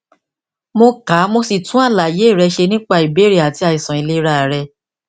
mo ka mo sì tún àlàyé rẹ ṣe nípa ìbéèrè àti àìsàn ìlera rẹ